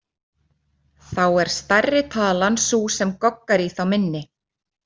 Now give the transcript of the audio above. Þá er stærri talan sú sem goggar í þá minni.